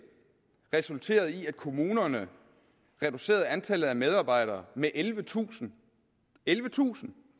resulterede i at kommunerne reducerede antallet af medarbejdere med ellevetusind ellevetusind